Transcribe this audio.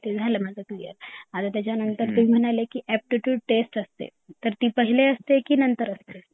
ते झाल माझ क्लियर माझ क्लियर आणि तुम्ही म्हणाले की एप्टिट्यूड टेस्ट असते तर ती पहिले असते की नंतर असते?